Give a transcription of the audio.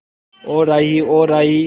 ओ राही ओ राही